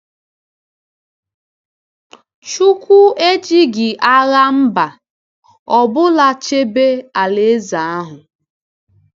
Chukwuka ejighị agha mba ọ bụla chebe alaeze ahụ.